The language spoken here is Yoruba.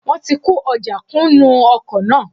Wọ́n ti kó ojà kún nú ọkọ̀ náà